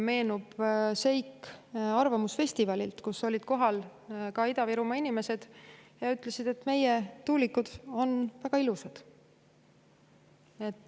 Meenub seik arvamusfestivalilt, kus olid kohal ka Ida-Virumaa inimesed, kes ütlesid, et meie tuulikud on väga ilusad.